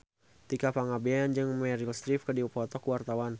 Tika Pangabean jeung Meryl Streep keur dipoto ku wartawan